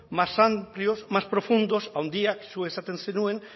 más amplios más profundos haundiak zuk esaten zenuen